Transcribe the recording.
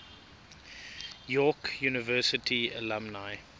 york university alumni